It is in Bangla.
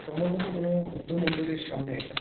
সম্ভবত কোনো-ও বুদ্ধ মন্দিরের সামনে এটা।